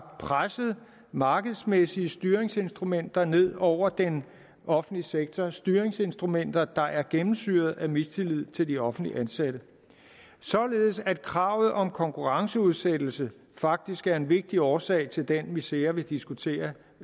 presset markedsmæssige styringsinstrumenter ned over den offentlige sektors styringsinstrumenter og er gennemsyret af mistillid til de offentligt ansatte således at kravet om konkurrenceudsættelse faktisk er en vigtig årsag til den misere vi diskuterer